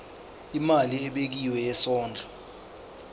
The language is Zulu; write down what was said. imali ebekiwe yesondlo